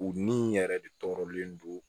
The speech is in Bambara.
U ni in yɛrɛ de tɔɔrɔlen don